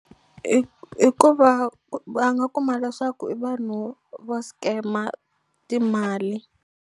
I I ku va va nga kuma leswaku i vanhu vo scam-a timali.